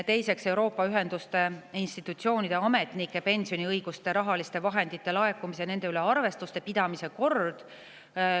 Teiseks, Euroopa ühenduste institutsioonide ametnike pensioniõigustele rahaliste vahendite laekumise ja nende üle arvestuse pidamise kord.